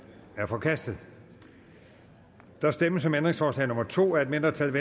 er forkastet der stemmes om ændringsforslag nummer to af et mindretal